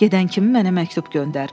Gedən kimi mənə məktub göndər.